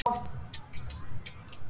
Aldrei sagði hún nei.